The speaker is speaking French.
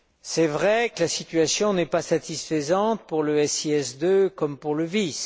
C'est vrai que la situation n'est pas satisfaisante pour le SIS II, ni pour le VIS.